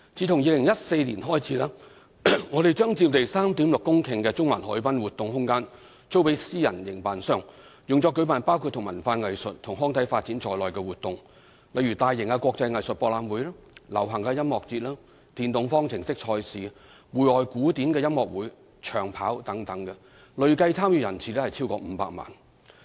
自2014年開始，我們將佔地 3.6 公頃的中環海濱活動空間租予私人營辦商，用作舉辦包括與文化藝術及康體發展有關的活動，例如大型國際藝術博覽會、流行音樂節、電動方程式賽事、戶外古典音樂會及長跑等，累計參與人次超過500萬。